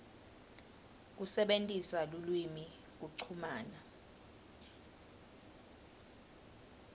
kusebentisa lulwimi kuchumana